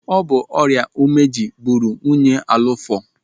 Ọ bụ ọrịa ụmeji gburu nwunye Alụfọ.